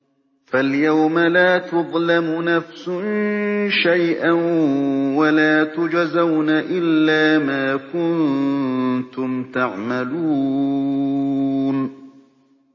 فَالْيَوْمَ لَا تُظْلَمُ نَفْسٌ شَيْئًا وَلَا تُجْزَوْنَ إِلَّا مَا كُنتُمْ تَعْمَلُونَ